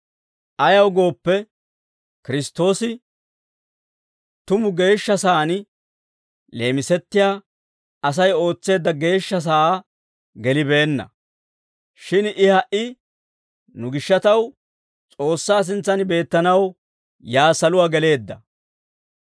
Ayaw gooppe, Kiristtoosi tumu geeshsha san leemisettiyaa Asay ootseedda geeshsha sa'aa gelibeenna; shin I ha"i nu gishshataw S'oossaa sintsan beettanaw yaa saluwaa geleedda.